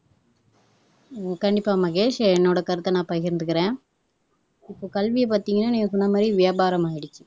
உம் கண்டிப்பா மகேஷ் என்னோட கருத்தை நான் பகிர்ந்துக்குறேன் இப்போ கல்வியை பார்த்தீங்கன்னா நீங்க சொன்னமாதிரி வியாபாரம் ஆயிடுச்சு